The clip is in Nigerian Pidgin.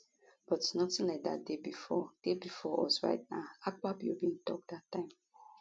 but nothing like dat dey bifor dey bifor us right now akpabio bin tok dat time